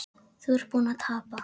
Þú ert búinn að tapa